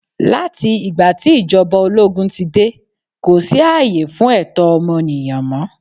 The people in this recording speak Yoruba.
Láti ìgbà tí ìjọba ológún ti dé, kò sí ààyè fún ẹ̀tọ́ ọmọnìyàn mọ.